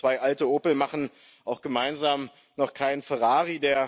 Doch zwei alte Opel machen auch gemeinsam noch keinen Ferrari.